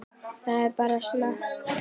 Það er bara snakk.